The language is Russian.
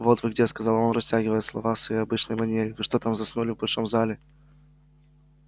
вот вы где сказал он растягивая слова в своей обычной манере вы что там заснули в большом зале